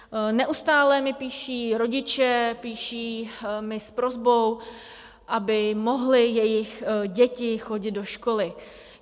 Neustále mi píší rodiče, píší mi s prosbou, aby mohly jejich děti chodit do školy.